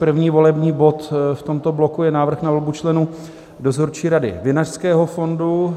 První volební bod v tomto bloku je návrh na volbu členů Dozorčí rady Vinařského fondu.